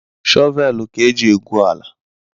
Shọvel ka eji egwu ala